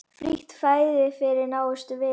Frítt fæði fyrir nánustu vini.